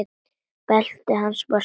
Beltið hans var svart.